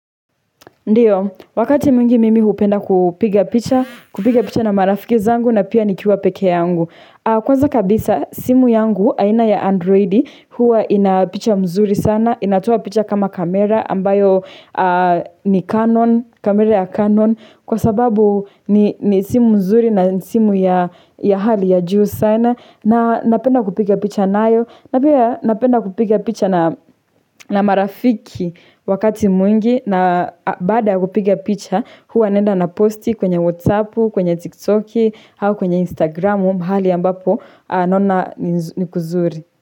Ndiyo, wakati mwingi mimi hupenda kupiga picha, kupiga picha na marafiki zangu na pia nikiwa pekee yangu. Kwanza kabisa, simu yangu, aina ya androidi, huwa ina picha mzuri sana, inatoa picha kama kamera, ambayo ni Canon, kamera ya Canon. Kwa sababu ni simu nzuri na ni simu ya hali ya juu sana, na napenda kupiga picha nayo. Na pia napenda kupiga picha na marafiki wakati mwingi na baada ya kupiga picha huwa naenda naposti kwenye whatsappu, kwenye tiktoki au kwenye instagramu mahali ambapo naona ni kuzuri.